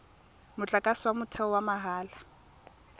motlakase wa motheo wa mahala